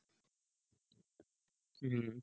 হম